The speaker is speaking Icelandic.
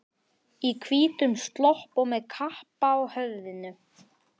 Í hvítum slopp og með kappa á höfðinu.